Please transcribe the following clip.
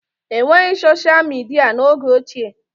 E nweghị soshịa midịa n'oge ochie